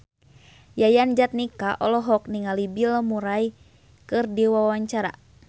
Yayan Jatnika olohok ningali Bill Murray keur diwawancara